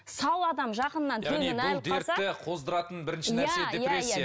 сау адам жақынынан қоздыратын бірінші нәрсе